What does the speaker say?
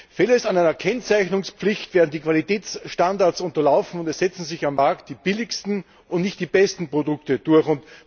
Fehlt eine Kennzeichnungspflicht, werden die Qualitätsstandards unterlaufen, und es setzen sich am Markt die billigsten und nicht die besten Produkte durch.